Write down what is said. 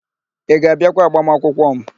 Ị ga-abịakwa agbamakwụkwọ m?